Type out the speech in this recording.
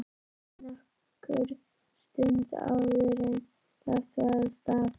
Það leið nokkur stund áður en lagt var af stað.